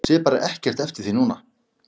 Sé bara ekkert eftir því núna.